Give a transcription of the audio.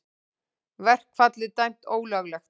Verkfallið dæmt ólöglegt